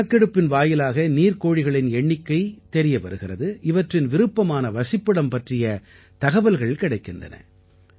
இந்தக் கணக்கெடுப்பின் வாயிலாக நீர்க்கோழிகளின் எண்ணிக்கை தெரிய வருகிறது இவற்றின் விருப்பமான வசிப்பிடம் பற்றிய தகவல்கள் கிடைக்கின்றன